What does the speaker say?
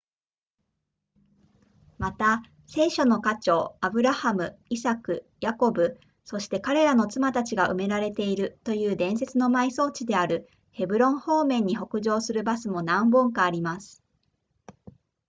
また聖書の家長アブラハムイサクヤコブそして彼らの妻たちが埋められているという伝説の埋葬地であるヘブロン方面に北上するバスも何本かあります